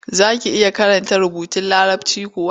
Za ki iya karanta rubutun Larabci kuwa?